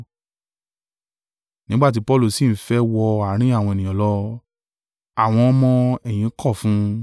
Nígbà ti Paulu sì ń fẹ́ wọ àárín àwọn ènìyàn lọ, àwọn ọmọ-ẹ̀yìn kọ̀ fún un.